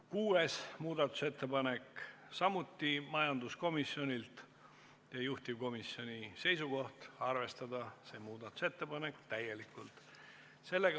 Kuues muudatusettepanek on samuti majanduskomisjonilt ja juhtivkomisjoni seisukoht on arvestada seda täielikult.